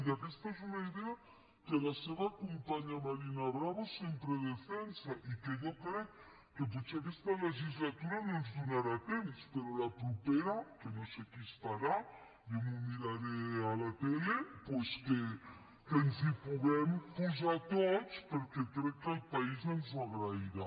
i aquesta és una idea que la seva companya marina bravo sempre defensa i que jo crec que potser aquesta legislatura no ens donarà temps però la propera que no sé qui estarà jo m’ho miraré a la tele doncs que ens hi puguem posar tots perquè crec que el país ens ho agrairà